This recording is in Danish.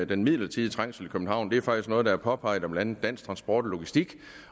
den midlertidige trængsel i københavn er faktisk noget der er påpeget af blandt andet dansk transport og logistik